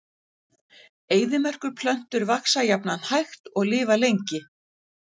Eyðimerkurplöntur vaxa jafnan hægt og lifa lengi.